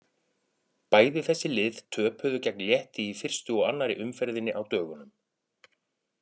Bæði þessi lið töpuðu gegn Létti í fyrstu og annarri umferðinni á dögunum.